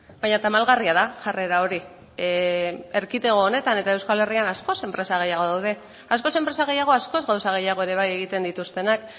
baina tamalgarria da jarrera hori erkidego honetan eta euskal herrian askoz enpresa gehiago daude askoz enpresa gehiago askoz gauza gehiago ere bai egiten dituztenak